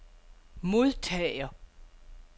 modtager